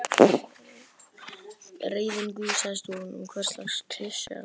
Reiðin gusast út úr honum: Hverslags klisja er það?